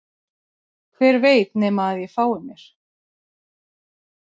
Hver veit nema að ég fái mér